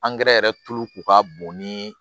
yɛrɛ tulu ko ka bon ni